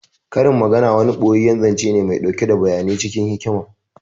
Karin magana wani ɓoyeyyen zance ne mai ɗauke da bayanai cikin hikima